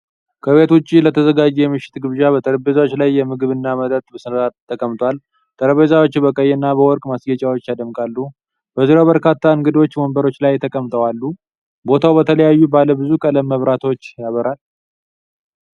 ከቤት ውጪ ለተዘጋጀ የምሽት ግብዣ፣ በጠረጴዛዎች ላይ ምግብና መጠጥ በሥርዓት ተቀምጧል። ጠረጴዛዎቹ በቀይና በወርቅ ማስጌጫዎች ያደምቃሉ። በዙሪያው በርካታ እንግዶች ወንበሮች ላይ ተቀምጠው አሉ። ቦታው በተለያዩ ባለ ብዙ ቀለም መብራቶች ያበራል።